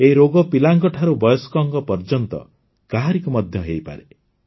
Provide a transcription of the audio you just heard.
ଏହି ରୋଗ ପିଲାଙ୍କ ଠାରୁ ବୟସ୍କ ପର୍ଯ୍ୟନ୍ତ କାହାରିକୁ ମଧ୍ୟ ହୋଇପାରେ